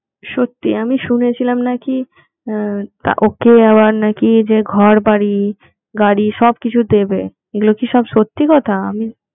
সত্যি আমি শুনেছিলাম নাকি ওকে আবার নাকি যে ঘরবাড়ি গাড়ি সবকিছু দেবে এইগুলো কি সব সত্যি কথা